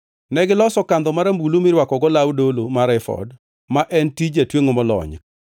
Negiloso kandho marambulu mirwakogo law dolo mar efod, ma en tij jatwengʼo molony,